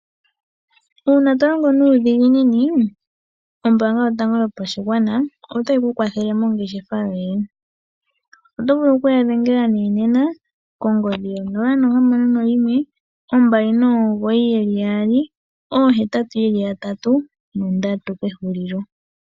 Uuna to longo nuudhiginini ombaanga yotango yopashigwana ota yi ku kwathele mongeshefa yoye. Oto vulu okuya dhengela nee nena kongodhi yo 061 299 8883